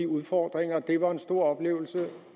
udfordringer det var en stor oplevelse